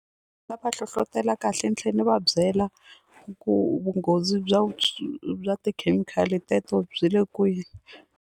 Nga va hlohlotela kahle ni tlhela ni va byela ku vunghozi byo bya tikhemikhali teto byi le kwihi.